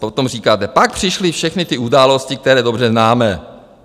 Potom říkáte - pak přišly všechny ty události, které dobře známe.